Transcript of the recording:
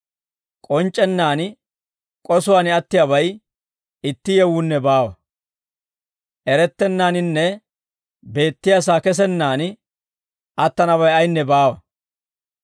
K'onc'c'ennaan k'osuwaan attiyaabay itti yewuunne baawa. Erettennaaninne beettiyaasaa kesennaan attanabay ayinne baawa.